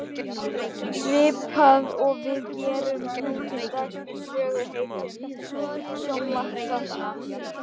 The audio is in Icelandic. Svipað og við gerum nú til dags með söguhetjum sjónvarpsþáttanna.